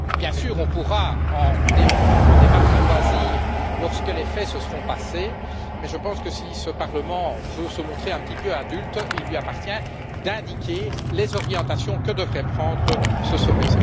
Bien sûr, on pourra en débattre à loisir lorsque les faits seront passés, mais je pense que si ce Parlement veut se montrer un petit peu adulte, il lui appartient d'indiquer les orientations que devrait prendre ce sommet.